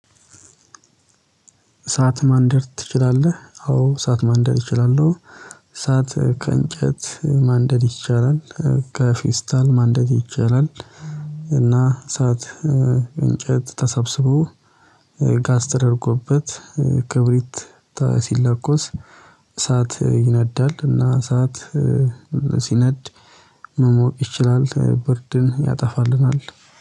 እሳት ማንደር ትችላለህ? አዎ እሳት ማንደር እችላለሁ። እሳት ከእንጨት ማንደድ ይቻላል። ከፊስታል ማንደድ ይቻላል። እና እንጨት ተሰብስበው ጋስ ተደርጎበት ክብሪት ሲለቆስ እሳት ይነዳል እና እሳት ሲነድ መሞቅ ይችላል። ብርድን ያጠፋልናል